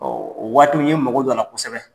Ɔ waati, n ye mago don a la kosɛbɛ.